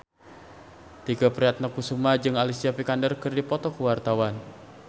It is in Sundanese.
Tike Priatnakusuma jeung Alicia Vikander keur dipoto ku wartawan